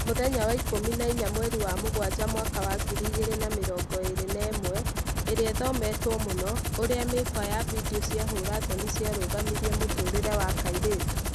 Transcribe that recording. Mũthenya wa ikũmi na inya mweri wa Mũgwanja mwaka wa ngiri igĩri na mĩrongo ĩri na ĩmwe, ĩria ĩthometwo mũno: ũrĩa mĩkwa ya video cia hũra thoni ciarũgamirie mũtũrĩre wa kairĩtu